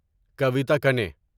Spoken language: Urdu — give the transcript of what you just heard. کویتا کنی